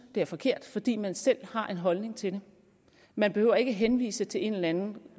det er forkert fordi man selv har en holdning til det man behøver ikke henvise til en eller anden